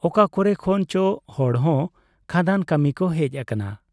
ᱚᱠᱟ ᱠᱚᱨᱮ ᱠᱷᱚᱱ ᱪᱚ ᱦᱚᱲ ᱦᱚᱸ ᱠᱷᱟᱫᱟᱱ ᱠᱟᱹᱢᱤ ᱠᱚ ᱦᱮᱡ ᱟᱠᱟᱱᱟ ᱾